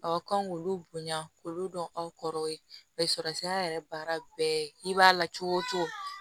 Aw kan k'olu bonya k'olu dɔn aw kɔrɔ ye surasiya yɛrɛ baara bɛɛ i b'a la cogo o cogo